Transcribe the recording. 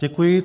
Děkuji.